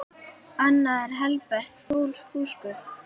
Annað er helbert fúsk.